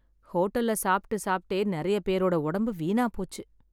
ஹோட்டல்ல சாப்பிட்டு சாப்பிட்டே நிறைய பேரோட உடம்பு வீணா போச்சு